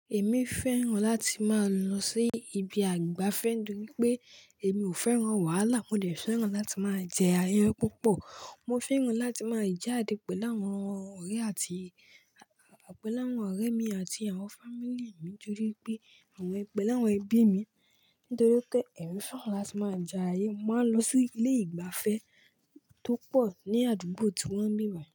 Èmi fẹ́ràn láti máa lọ sí ibi àgbàfẹ́ nítorí pé èmi ò fẹ́ràn wàhálà. Mo dẹ̀ fẹ́ràn láti máa jẹ ayé púpọ̀. Mo fẹ́ràn láti máa jáde pẹ̀lú àwọn ọ̀rẹ́ àti pẹ́ẹ̀lẹ́ àwọn ọ̀rẹ́ mi àti àwọn fámílì mi nítorí pé àwọn pẹ́ẹ̀lẹ́ àwọn ẹbí mi. Nítorí pé èmi fẹ́ràn láti máa já ayé, màá lọ sí ilé ìgbafẹ́ tó pọ̀ ní àdúgbò tí wọ́n mì rà.